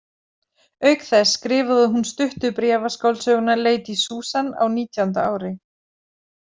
Auk þess skrifaði hún stuttu bréfaskáldsöguna Lady Susan á nítjánda ári.